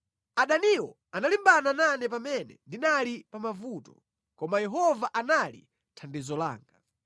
Adaniwo analimbana nane pamene ndinali pa mavuto, koma Yehova anali thandizo langa.